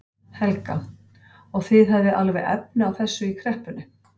Helga: Og þið hafið alveg efni á þessu í kreppunni?